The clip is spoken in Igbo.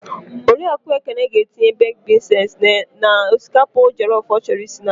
Oriakụ Ekene ga-etinye bekd bins henz n'osikapa jọlọf ọ chọrọ isi n'abalị.